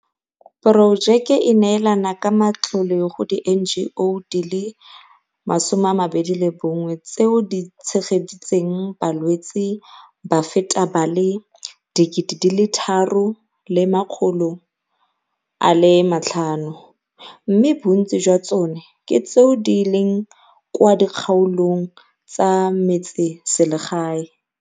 Porojeke e neelana ka matlole go di-NGO di le 21 tseo di tshe geditseng balwetse ba feta ba le 3 500, mme bontsi jwa tsone ke tseo di leng kwa dikgaolong tsa metseselegae.